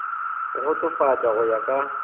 go kgotsofatša go ya ka